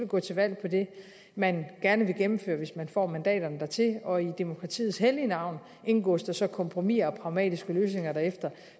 gå til valg på det man gerne vil gennemføre hvis man får mandaterne dertil og i demokratiets hellige navn indgås der så kompromiser og pragmatiske løsninger bagefter